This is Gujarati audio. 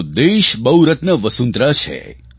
આપણો દેશ બહુરત્ના વસુંધરા છે